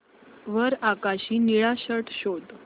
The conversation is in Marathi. वर आकाशी निळा शर्ट शोध